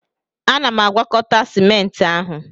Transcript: Ana m agwakọta Sịment ahụ